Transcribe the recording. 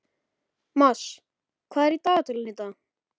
Mars, hvað er í dagatalinu í dag?